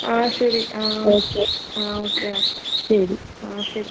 ആഹ് ശെരി ആഹ് ആഹ്. ആഹ് ഓക്കെ. ആഹ് ശെരി.